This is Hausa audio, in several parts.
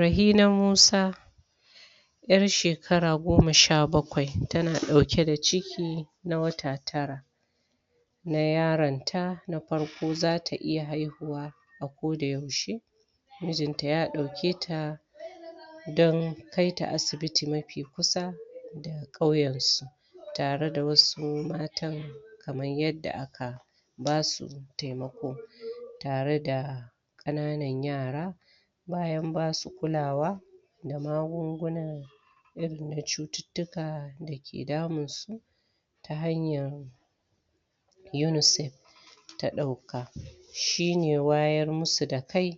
Rahina Musa 'yar shekara goma sha bakwai tana dauke da ciki na wata tara na yaronta na farko za ta iya haihuwa a ko da yaushe mujinta ya dauke ta dan kaita asibiti mafi kusa da kauyan su tare da wasu matan kamar yadda aka basu temako tare da kananan yara bayan ba su kulawa da magunguna irin na cututtukan da ke damunsu ta hanyan yunusaf da ta dauka shi ne wayar musu da kai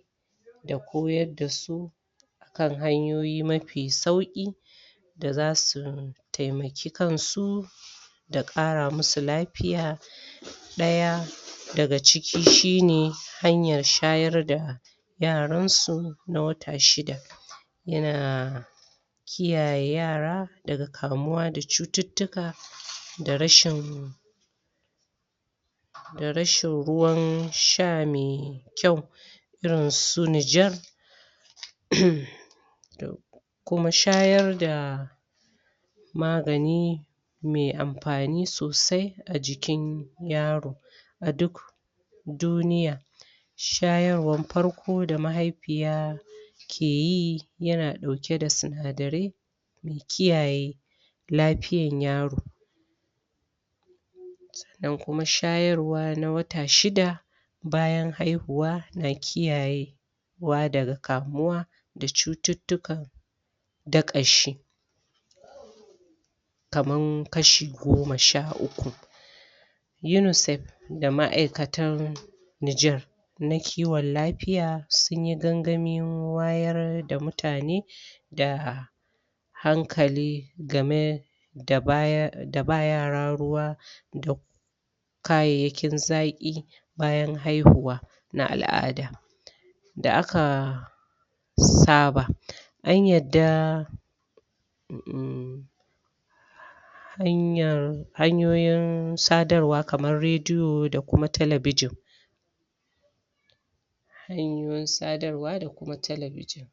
da koyar da su kan hanyoyi mafi sauki da za su taimaki kan su da kara musu lafiya daya daga ciki shi ne hanyar shayar da yaran su na wata shida yana kiyaye yara daga kamuwa da cututtuka da rashin da rashin ruwan sha mai kyau irin si nijar uuummm kuma shayar da magani mai amfani sosai a jikin yaro aduk duniya shayarwan farko da mahaifiya keyi yana dauke da sinadare da kiyaye lafiyan yaro da kuma shayarwa na wata shida bayan haihuwa, na kiyaye na kiyayewa daga kamuwa da cututtukan dakashi kaman kashi goma sha uku yunusef da ma'aykatan Nijar na kiwan lafiya sunyi sunyi gaggamin wayar da muta ne da hankali gamai da ba yara ruwa da kayayyakin zaki bayan haihuwa na al'ada da akkaaa saba an yardaaa ummm hanyar hanyoyin sadarwa kaman rediyo da kuma talbijin hanyoyin sadarwa da kuma talbijin